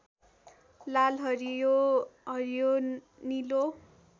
लालहरियो हरियोनीलो